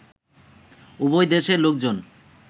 উভয় দেশের লোকজন